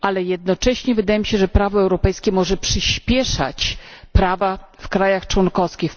Jednocześnie wydaje mi się, że prawo europejskie może przyśpieszać zmiany prawa w krajach członkowskich.